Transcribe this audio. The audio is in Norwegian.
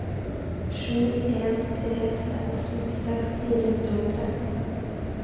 sju en tre seks nittiseks fire hundre og tretten